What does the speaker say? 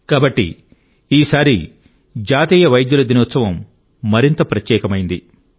కాబట్టి ఈసారి జాతీయ వైద్యుల దినోత్సవం మరింత ప్రత్యేకమైంది